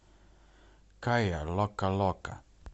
кайя локо локо